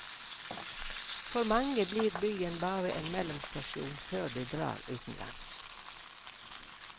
For mange blir byen bare en mellomstasjon før de drar utenlands.